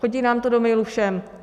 Chodí nám to do mailu všem.